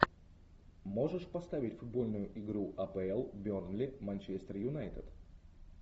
можешь поставить футбольную игру апл бернли манчестер юнайтед